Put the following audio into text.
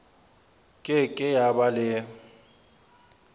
ke ke ya ba le